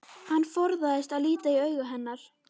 Hann forðast að líta í augu hennar.